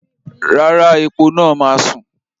Rárá, epo náà máa sùn.